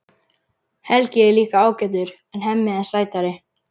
Helgi er líka ágætur en Hemmi er sætari.